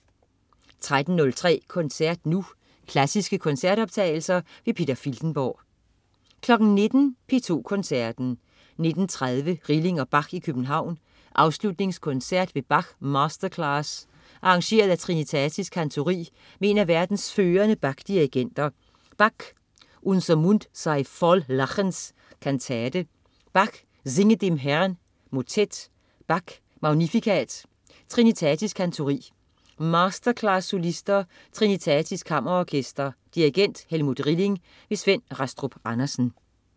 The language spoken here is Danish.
13.03 Koncert Nu. Klassiske koncertoptagelser. Peter Filtenborg 19.00 P2 Koncerten. 19.30 Rilling og Bach i København. Afslutningskoncert ved Bach-masterclass arrangeret af Trinitatis Kantori med en af verdens førende Bach-dirigenter. Bach: Unser Mund sei voll Lachens, kantate. Bach: Singet dem Herrn, motet. Bach: Magnificat. Trinitatis Kantori. Masterclass-solister. Trinitatis Kammerorkester. Dirigent: Helmut Rilling. Svend Rastrup Andersen